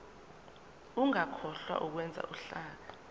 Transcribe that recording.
ungakhohlwa ukwenza uhlaka